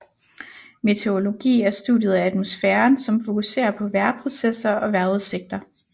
Meteorologi er studiet af atmosfæren som fokuserer på vejrprocesser og vejrudsigter